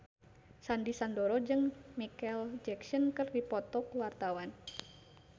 Sandy Sandoro jeung Micheal Jackson keur dipoto ku wartawan